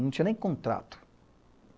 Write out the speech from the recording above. Não tinha nem contrato.